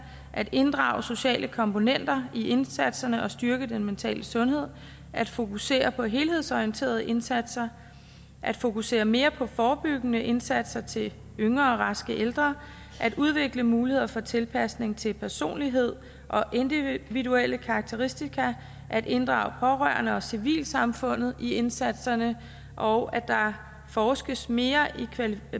at inddrage sociale komponenter i indsatserne og styrke den mentale sundhed at fokusere på helhedsorienterede indsatser at fokusere mere på forebyggende indsatser til yngre raske ældre at udvikle muligheder for tilpasning til personlighed og individuelle karakteristika at inddrage pårørende og civilsamfundet i indsatserne og at der forskes mere